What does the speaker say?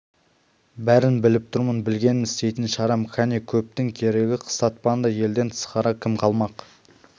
бәрін біліп тұрмын білгенмен істейтін шарам кәне көптің керегі қыстапанда елден тысқары кім қалмақ